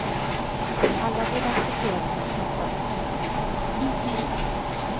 Alla borde acceptera sina kroppar så som de är.